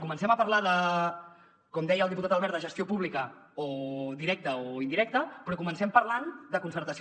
comencem a parlar com deia el diputat albert de gestió pública o directa o indirecta però comencem parlant de concertació